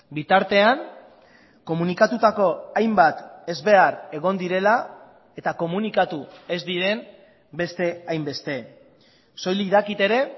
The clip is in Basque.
bitartean komunikatutako hainbat ezbehar egon direla eta komunikatu ez diren beste hainbeste soilik dakit ere